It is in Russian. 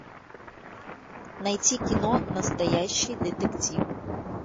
найти кино настоящий детектив